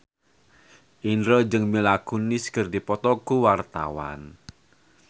Indro jeung Mila Kunis keur dipoto ku wartawan